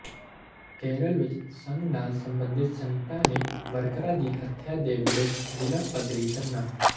ਕੇਰਲ ਵਿੱਚ ਸੰਘ ਨਾਲ ਸਬੰਧਤ ਸੰਗਠਨਾਂ ਦੇ ਵਰਕਰਾਂ ਦੀ ਹੱਤਿਆ ਦੇ ਵਿਰੁੱਧ ਜ਼ਿਲ੍ਹਾ ਪੱਧਰੀ ਧਰਨਾ